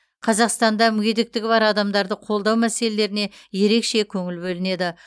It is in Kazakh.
қазақстанда мүгедектігі бар адамдарды қолдау мәселелеріне ерекше көңіл бөлінеді